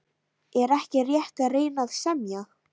Er ekki rétt að reyna að semja?